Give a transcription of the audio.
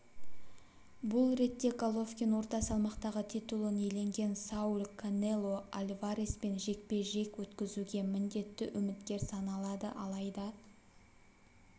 бұл ретте головкин орта салмақтағы титулын иеленген сауль канело альвареспен жекпе-жек өткізуге міндетті үміткер саналады алайда